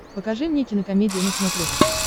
покажи мне кинокомедия на смотрешке